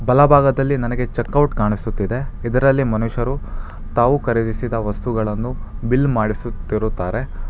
ಬಲಭಾಗದಲ್ಲಿ ನನಗೆ checkout ಕಾಣಿಸುತ್ತಿದೆ ಇದರಲ್ಲಿ ಮನುಷ್ಯರು ತಾವು ಖರೀದಿಸಿದ ವಸ್ತುಗಳನ್ನು ಬಿಲ್ ಮಾಡಿಸುತಿರುತ್ತಾರೆ.